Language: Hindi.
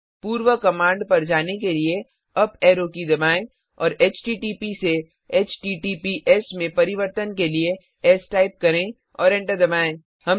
पूर्व कमाण्ड पर जाने लिए अप एरो दबाएं और एचटीटीपी से एचटीटीपीएस में परिवर्तन के लिए एस टाइप करें और एंटर दबाएँ